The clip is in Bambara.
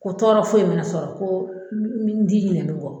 Ko tɔɔrɔ foyi mina sɔrɔ ko n n ti ɲinɛ min kɔ